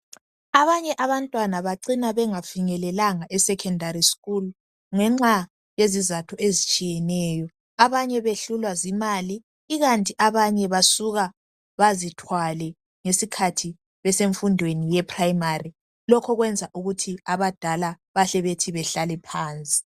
abanye abantwana bacina bengafinyelelanga esecendary school ngenxa yezizatho ezitshiyeneyo abanye behlulwa zimali ikanti abanye basuka bezithwale ngesikhathi besemfundweni yase primary lokho kwenza ukuthi abadala bahle bethi bahlale phansi